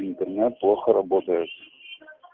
интернет плохо работает